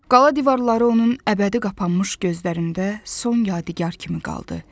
Qala divarları onun əbədi qapanmış gözlərində son yadigar kimi qaldı.